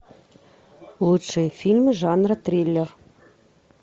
лучшие фильмы жанра триллер